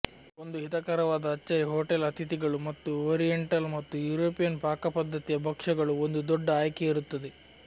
ಒಂದು ಹಿತಕರವಾದ ಅಚ್ಚರಿ ಹೋಟೆಲ್ ಅತಿಥಿಗಳು ಮತ್ತು ಓರಿಯೆಂಟಲ್ ಮತ್ತು ಯುರೋಪಿಯನ್ ಪಾಕಪದ್ಧತಿಯ ಭಕ್ಷ್ಯಗಳು ಒಂದು ದೊಡ್ಡ ಆಯ್ಕೆ ಇರುತ್ತದೆ